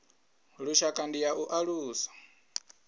lushaka ndi ya u alusa